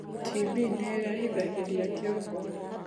TB nirehithagirĩa kĩongo